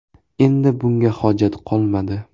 Endi bunga hojat qolmadi.